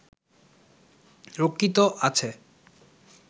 রক্ষিত আছে